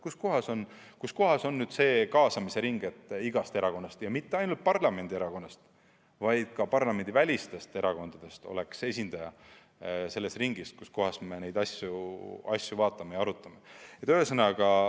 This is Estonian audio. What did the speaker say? Kus kohas on nüüd see kaasamise ring, nii et igast erakonnast ja mitte ainult parlamendierakondadest, vaid ka parlamendivälistest erakondadest oleks esindaja selles ringis, kus neid asju arutatakse?